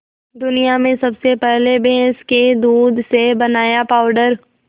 दुनिया में सबसे पहले भैंस के दूध से बनाया पावडर